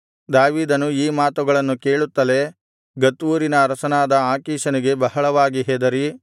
ದಾವೀದನು ಈ ಮಾತುಗಳನ್ನು ಕೇಳುತ್ತಲೇ ಗತ್ ಊರಿನ ಅರಸನಾದ ಆಕೀಷನಿಗೆ ಬಹಳವಾಗಿ ಹೆದರಿ